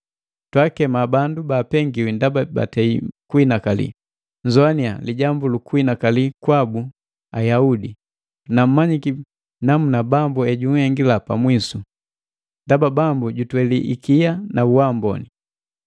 Twaakema bandu baapengiwi ndaba batei kuhinakali. Nnzoini lijambu lukuhinakali kwaka Ayubu, na mmanyiki namuna Bambu ejunhengila pamwisu. Ndaba Bambu jutweli ikia na uamboni.